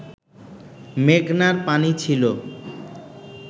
মেঘনার পানি ছিল